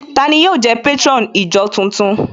Tani yóò jẹ́ patron ìjọ tuntun?